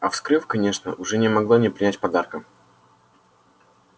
а вскрыв конечно уже не могла не принять подарка